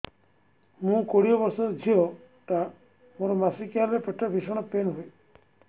ମୁ କୋଡ଼ିଏ ବର୍ଷର ଝିଅ ଟା ମୋର ମାସିକିଆ ହେଲେ ପେଟ ଭୀଷଣ ପେନ ହୁଏ